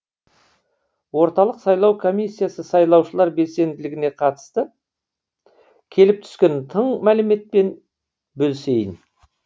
орталық сайлау комиссиясы сайлаушылар белсенділігіне қатысты келіп түскен тың мәліметпен бөлісейін